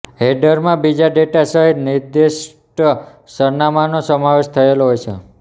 હેડરમાં બીજા ડેટા સહીત નિર્દિષ્ટ સરનામાંનો સમાવેશ થયેલો હોય છે